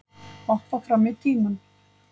Hoppa fram í tímann